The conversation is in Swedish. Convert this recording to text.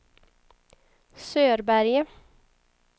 Sörberge